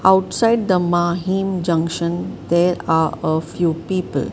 outside the mahim junction there are a few people.